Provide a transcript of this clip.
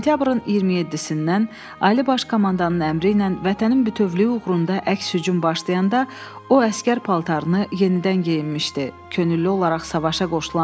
Sentyabrın 27-dən Ali Baş Komandanın əmri ilə Vətənin bütövlüyü uğrunda əks-hücum başlayanda o əsgər paltarını yenidən geyinmişdi, könüllü olaraq savaşa qoşulub.